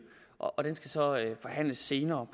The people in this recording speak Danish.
og den skal så forhandles senere